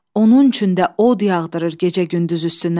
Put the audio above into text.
Onun üçün də od yağdırır gecə-gündüz üstünə.